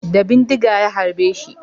Da bindiga ya harbeshi